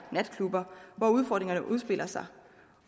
natklubber hvor udfordringerne udspiller sig